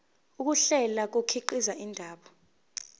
ukuhlela kukhiqiza indaba